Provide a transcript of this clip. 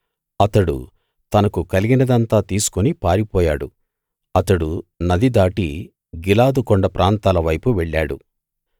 అతడు తనకు కలిగినదంతా తీసుకు పారిపోయాడు అతడు నది దాటి గిలాదు కొండ ప్రాంతాల వైపు వెళ్ళాడు